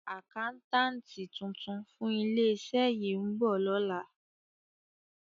Àkáńtátì tuntun fún ilé-iṣẹ́ yìí ń bọ̀ lọ́la.